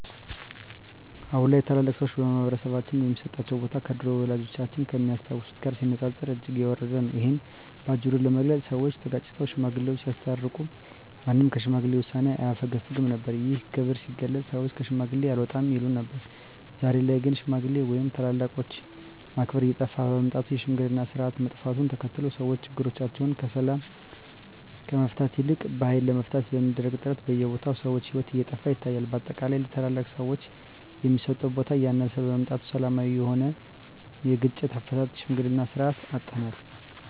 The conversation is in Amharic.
አሁን ላይ ታላላቅ ሰዎች በማህበረሰባችን ሚሰጣቸው ቦታ ከድሮው ወላጆቻችን ከሚያስታውሱት ጋር ሲነጻጸር እጅግ የወረደ ነው። እሂን በአጭሩ ለመግለጽ ሰወች ተጋጭተው ሽማግሌወች ሲያስታርቁ ማንም ከሽማግሌ ውሳኔ አያፈገፍግም ነበር። ይህም ክብር ሲገለጽ ሰወች ከሽማግሌ አልወጣም ይሉ ነበር። ዛሬ ላይ ግን ሽማግሌ ወይም ታላላቆችን ማክበር እየጠፋ በመምጣቱ የሽምግልናው ስርአት መጥፋቱን ተከትሎ ሰወች ችግሮቻቸውን በሰላም ከመፍታት ይልቅ በሀይል ለመፍታት በሚደረግ ጥረት በየቦታው የሰው ሂወት እየጠፋ ይታያል። በአጠቃላይ ለታላላቅ ሰወች የሚሰጠው ቦታ እያነሰ በመምጣቱ ሰላማዊ የሆነውን የግጭት አፈታት የሽምግልናን ስርአት አጠናል።